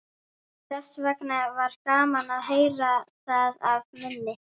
Þessvegna var gaman að heyra það af munni